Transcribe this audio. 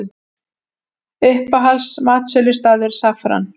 Uppáhalds matsölustaður: Saffran